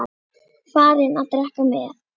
Farinn að drekka með